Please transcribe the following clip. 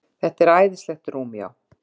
Þetta er æðislegt rúm, já.